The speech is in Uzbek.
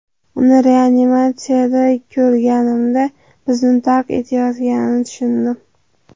Uni reanimatsiyada ko‘rganimda bizni tark etayotganini tushundim.